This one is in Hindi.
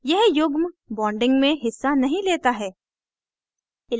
यह युग्म bonding में हिस्सा नहीं लेता है